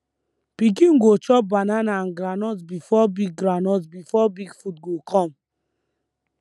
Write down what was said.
pikin go chop banana and groundnut before big groundnut before big food go come